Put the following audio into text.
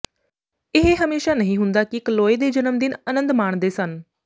ਇਹ ਹਮੇਸ਼ਾ ਨਹੀਂ ਹੁੰਦਾ ਕਿ ਕਲੋਏ ਦੇ ਜਨਮਦਿਨ ਅਨੰਦ ਮਾਣਦੇ ਸਨ